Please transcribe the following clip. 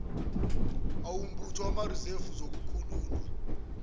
awombutho wamarizevu zokukhululwa